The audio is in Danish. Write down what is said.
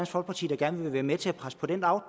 folkeparti der gerne vil være med til at presse på den